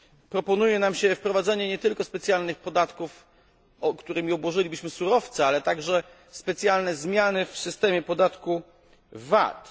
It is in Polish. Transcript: Proponuje nam się wprowadzenie nie tylko specjalnych podatków, którymi obłożylibyśmy surowce, ale także specjalne zmiany w systemie podatku VAT.